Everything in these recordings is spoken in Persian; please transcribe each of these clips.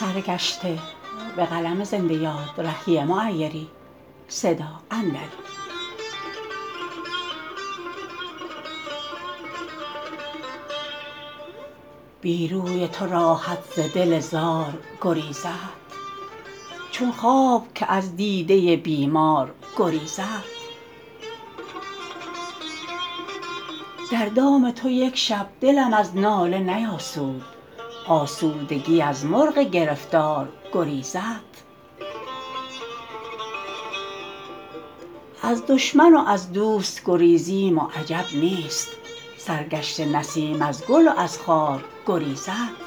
بی روی تو راحت ز دل زار گریزد چون خواب که از دیده بیمار گریزد در دام تو یک شب دلم از ناله نیاسود آسودگی از مرغ گرفتار گریزد از دشمن و از دوست گریزیم و عجب نیست سرگشته نسیم از گل و از خار گریزد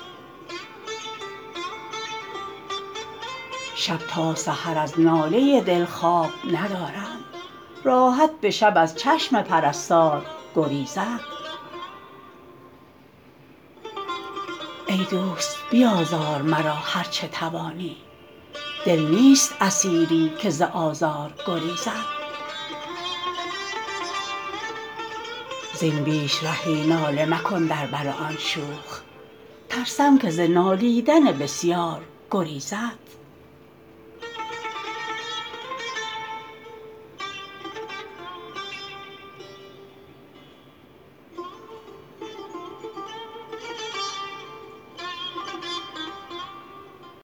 شب تا سحر از ناله دل خواب ندارم راحت به شب از چشم پرستار گریزد ای دوست بیازار مرا هرچه توانی دل نیست اسیری که ز آزار گریزد زین بیش رهی ناله مکن در بر آن شوخ ترسم که ز نالیدن بسیار گریزد